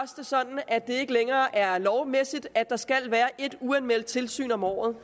sådan at det ikke længere er lovmæssigt at der skal være et uanmeldt tilsyn om året